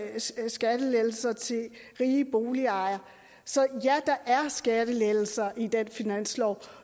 er skæve skattelettelser til rige boligejere så ja der er skattelettelser i den finanslov